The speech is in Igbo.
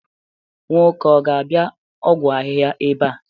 nwoke a ga-abia ọgwụ ahịhịa ebe a?